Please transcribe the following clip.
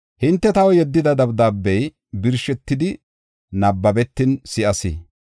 Hinte taw yeddida dabdaabey birshetidi nabbabetin si7as.